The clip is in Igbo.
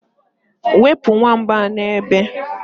wepụ nwamba a n'ebe a